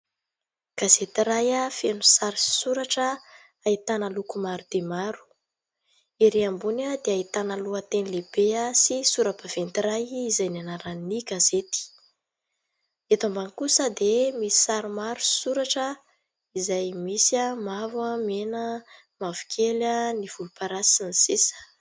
Gazety iray feno sary sy soratra. Ahitana loko maro dia maro. Ery ambony dia ahitana lohateny lehibe sy sora-baventy iray izay ny anaran'ny gazety. Eto ambany kosa dia misy sary maro sy soratra izay misy mavo, mena, mavokely, ny volomparasy sy ny sisa.